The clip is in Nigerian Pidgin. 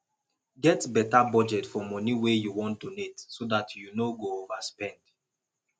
get better budget for money wey you wan donate so dat you no go overspend